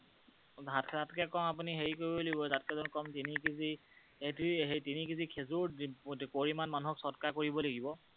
ভাত খোৱাতকৈ কম আপুনি হেৰি কৰিব লাগিব, তিনি কেজি খেঁজুৰৰ পৰিমাণ মানুহক সৎকাৰ কৰিব লাগিব।